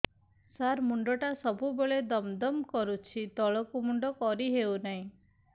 ସାର ମୁଣ୍ଡ ଟା ସବୁ ବେଳେ ଦମ ଦମ କରୁଛି ତଳକୁ ମୁଣ୍ଡ କରି ହେଉଛି ନାହିଁ